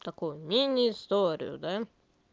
такую мини историю да